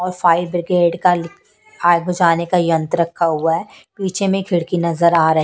और fire brigade का ली फायर बुझाने का यंत्र रखा हुआ है पीछे में खिड़की नजर आ रही--